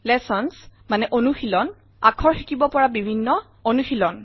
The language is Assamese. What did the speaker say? লেচন্স অনুশীলন - আখৰ শিকিব পৰা বিভিন্ন অনুশীনল